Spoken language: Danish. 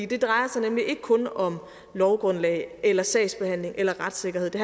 det drejer sig nemlig ikke kun om lovgrundlag eller sagsbehandling eller retssikkerhed det